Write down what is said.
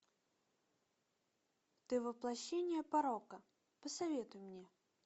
ты воплощение порока посоветуй мне